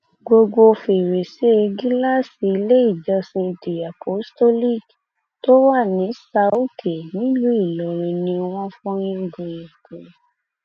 gbogbo fèrèsé gíláàsì iléèjọsìn the apostolic tó wà ní sãoòkè nílùú ìlọrin ni wọn fọ yangàn yangàn